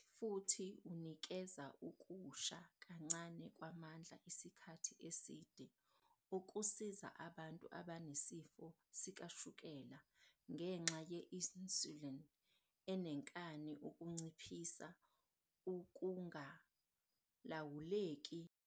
I-fibre inciphisa ukumunceka kwekhabhohaydrethi futhi unikeza ukusha kancane kwamandla isikhathi eside okusiza abantu abanesifo sikashukela ngenxa ye-insulini enenkani ukunciphisa ukungalawuleki kwamazinga aphezulu kashukela egazini okudala inkinga.